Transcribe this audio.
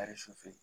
Ari su fɛ